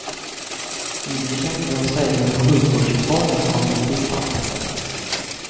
Ingen kan i dag säga hur sjukvårdsreformen kommer att gestalta sig.